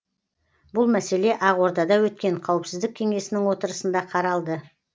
бұл мәселе ақордада өткен қауіпсіздік кеңесінің отырысында қаралды